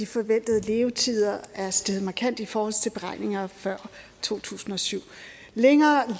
forventede levetid er steget markant i forhold til beregningerne før to tusind og syv længere